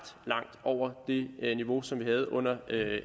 langt over det niveau som vi havde under